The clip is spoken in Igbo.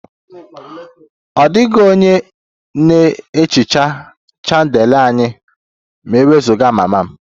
Ọ dịghị onye na-ehicha chandelier anyị ma e wezụga mama